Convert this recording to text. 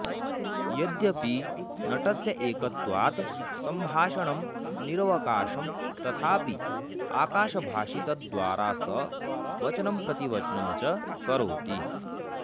यद्यपि नटस्य एकत्वात् सम्भाषणं निरवकाशं तथापि आकाशभाषितद्वारा स वचनं प्रतिवचनं च करोति